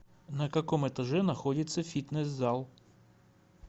на каком этаже находится фитнес зал